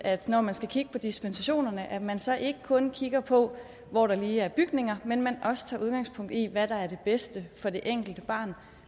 når man skal kigge på dispensationerne at man så ikke kun kigger på hvor der lige er bygninger men men også tager udgangspunkt i hvad der er det bedste for det enkelte barn